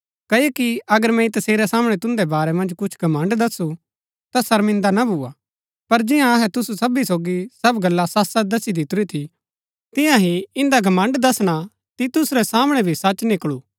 क्ओकि अगर मैंई तसेरै सामणै तुन्दै बारै मन्ज कुछ घमण्ड़ दसु ता शर्मिन्दा ना भुआ पर जियां अहै तुसु सबी सोगी सब गल्ला सचसच दसी दितुरी थी तियां ही इन्दा घमण्ड़ दसणा तीतुस रै सामणै भी सच निकळू